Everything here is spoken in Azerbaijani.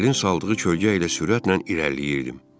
Sahilin saldığı kölgə ilə sürətlə irəliləyirdim.